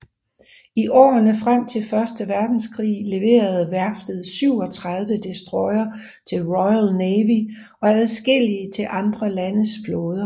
I årene frem til Første Verdenskrig leverede værftet 37 destroyere til Royal Navy og adskillige til andre landes flåder